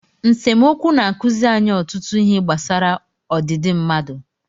Nsemokwu na-akụzi anyị ọtụtụ ihe gbasara ọdịdị mmadụ.